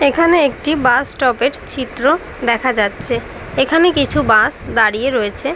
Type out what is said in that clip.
এখানে একটি bus stoppage চিত্র দেখা যাচ্ছে। এখানে কিছু বাস দাড়িয়ে রয়েছে।